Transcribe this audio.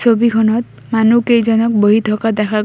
ছবিখনত মানুহ কেইজনক বহি থকা দেখা গৈ--